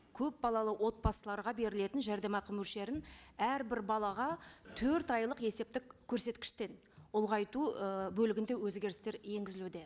көпбалалы отбасыларға берілетін жәрдемақы мөлшерін әрбір балаға төрт айлық есептік көрсеткіштен ұлғайту ы бөлігінде өзгерістер енгізілуде